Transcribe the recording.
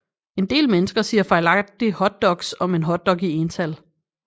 En del mennesker siger fejlagtigt hotdogs om en hotdog i ental